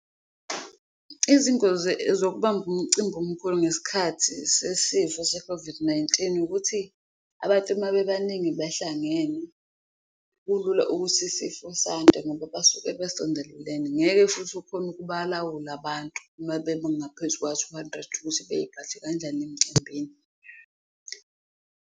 Izingozi zokubamba umcimbi omkhulu ngesikhathi sesifo se-COVID-19 ukuthi abantu mabebaningi behlangene, kulula ukuthi isifo sande ngoba basuke besondelene, ngeke futhi ukhone ukuba lawula abantu uma bengaphezu kuka-two hundred ukuthi beyiphathe kanjani emcimbini.